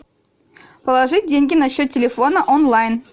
положить деньги на счет телефона онлайн